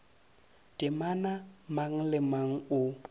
temana mang le mang o